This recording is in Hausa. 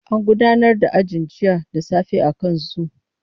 An gudanar da ajin jiya da safe akan zoom.